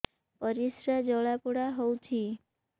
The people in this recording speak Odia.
ପରିସ୍ରା ଜଳାପୋଡା ହଉଛି